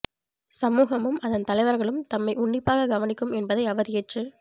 சமூகமும் அதன் தலைவர்களும் தம்மை உன்னிப்பாகக் கவனிக்கும் என்பதை அவர் ஏற்றுக்